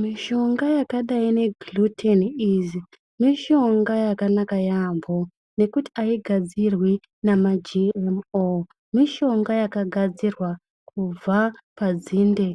Mishonga yakadai nge GlutenEase mishonga yakanaka yaampho nekuti aigadzirwi nema GMO, mishonga yakagadzirwa kubva padzinde